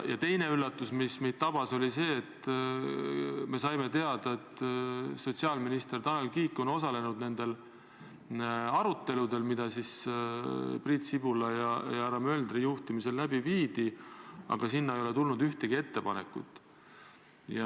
Teine üllatus, mis mind tabas, oli see, kui me saime teada, et sotsiaalminister Tanel Kiik on osalenud nendel aruteludel, mida Priit Sibula ja härra Möldri juhtimisel läbi viidi, aga ei ole tulnud ühtegi ettepanekut.